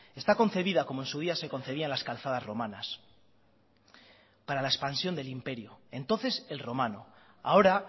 está concebida como en su día se concebían las calzadas romanas para la expansión del imperio entonces el romano ahora